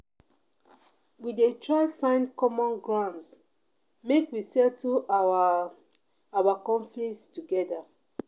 We dey try find common grounds make we settle our our conflicts togeda.